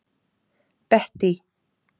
Bettý